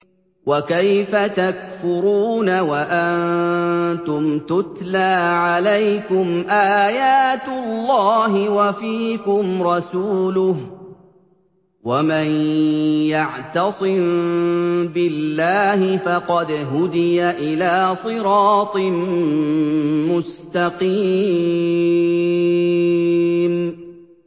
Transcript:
وَكَيْفَ تَكْفُرُونَ وَأَنتُمْ تُتْلَىٰ عَلَيْكُمْ آيَاتُ اللَّهِ وَفِيكُمْ رَسُولُهُ ۗ وَمَن يَعْتَصِم بِاللَّهِ فَقَدْ هُدِيَ إِلَىٰ صِرَاطٍ مُّسْتَقِيمٍ